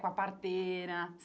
Com a parteira.